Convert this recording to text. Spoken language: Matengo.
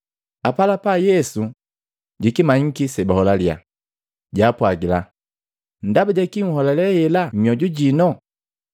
Apalapa Yesu jikimanyiki sebaholalya, jaapwagila, “Ndaba jaki nholale hela mmyoju jino?